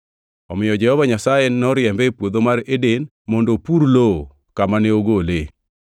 Omiyo Jehova Nyasaye noriembe e Puodho mar Eden mondo opur lowo kamane ogole.